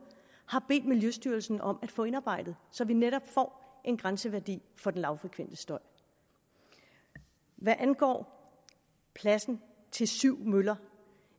har bedt miljøstyrelsen om at få indarbejdet så vi netop får en grænseværdi for den lavfrekvente støj hvad angår pladsen til syv møller